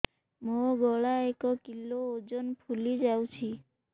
ମୋ ଗଳା ଏକ କିଲୋ ଓଜନ ଫୁଲି ଯାଉଛି